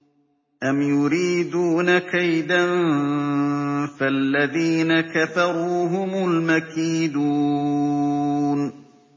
أَمْ يُرِيدُونَ كَيْدًا ۖ فَالَّذِينَ كَفَرُوا هُمُ الْمَكِيدُونَ